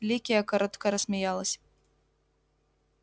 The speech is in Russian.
ликия коротко рассмеялась